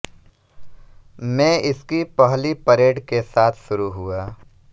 में इसकी पहली परेड के साथ शुरू हुआ